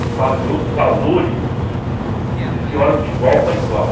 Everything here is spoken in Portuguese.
Se fala de outros valores, eles se olham de igual para igual.